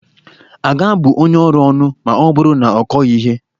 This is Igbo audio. A ga-abụ onye ọrụ ónù ma ọ bụrụ na ọ kọghị ihe?